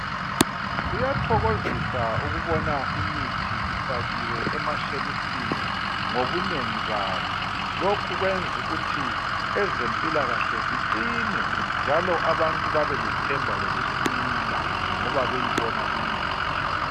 Kuyathokozisa ukubona imithi ifakiwe emashelufini ngobunengi bayo. Lokhu kwenzukuthi ezempilakahle ziqine njalo abantu babelethemba lokusila ngoba beyibona imithi.